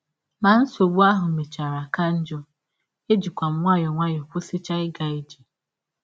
Ma nsọgbụ ahụ mechara ka njọ, ejikwa m nwayọọ nwayọọ kwụsịchaa ịga ije.